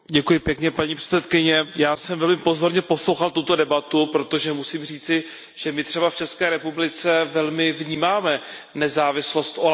Paní předsedající, já jsem velmi pozorně poslouchal tuto debatu, protože musím říci, že my třeba v České republice velmi vnímáme nezávislost úřadu OLAF.